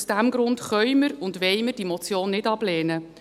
Aus diesem Grund können und wollen wir diese Motion nicht ablehnen.